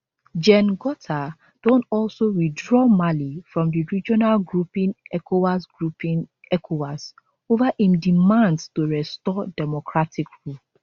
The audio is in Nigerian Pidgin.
gen gota don also withdraw mali from di regional grouping ecowas grouping ecowas over im demands to restore democratic rule